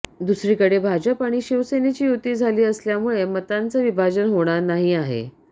दुसरीकडे भाजप आणि शिवसेनेची युती झाली असल्यामुळे मतांचं विभाजन होणार नाही आहे